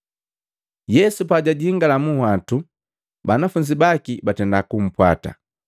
Yesu pajajingala munhwatu banafunzi baki batenda kumpwata.